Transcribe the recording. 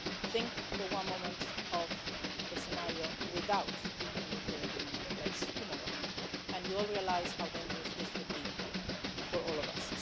Think for one moment of the scenario without the nuclear agreement in place tomorrow and you'll realise how dangerous this would be for all of us.